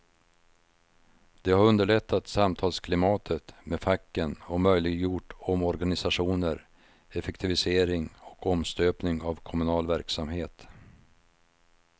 Det har underlättat samtalsklimatet med facken och möjliggjort omorganisationer, effektivisering och omstöpning av kommunal verksamhet.